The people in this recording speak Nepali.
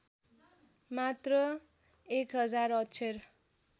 मात्र १००० अक्षर